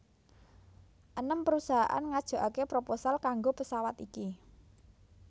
Enem perusahaan ngajokake proposal kanggo pesawat iki